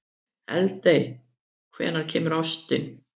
Eldey, hvenær kemur ásinn?